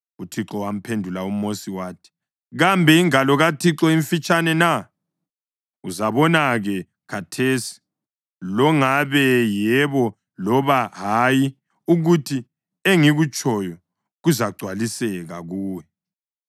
UThixo wamphendula uMosi wathi, “Kambe ingalo kaThixo imfitshane na? Uzabona-ke khathesi longabe yebo loba hayi ukuthi engikutshoyo kuzagcwaliseka kuwe.”